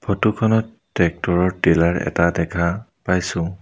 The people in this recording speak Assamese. ফটো খনত ট্ৰেক্টৰৰ টিলাৰ এটা দেখা পাইছোঁ।